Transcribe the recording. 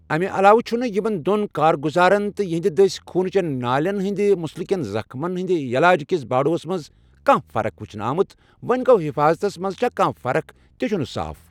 امہِ علاوٕ چھٗنہٕ یِمن دون كارگٗزارن تہٕ یِہندِ دسہِ خوُنہٕ چین نالین ہندِ مٗسلٗكین زخمن ہندِ یلاج كِس باڈوس منز كانہہ فرخ وٗچھنہٕ آمٗت ، وونہِ گو٘ حفاضتس منز چھا كانہہ فرخ تہِ چھٖٗنہٕ صاف ۔